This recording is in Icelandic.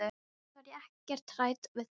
Samt var ég ekkert hrædd við þær.